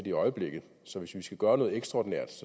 i øjeblikket så hvis vi skal gøre noget ekstraordinært